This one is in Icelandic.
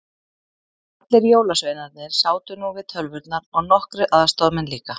Allir jólasveinarnir sátu nú við tölvurnar og nokkrir aðstoðamenn líka.